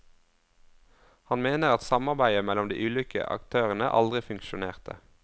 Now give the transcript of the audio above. Han mener at samarbeidet mellom de ulike aktørene aldri funksjonerte.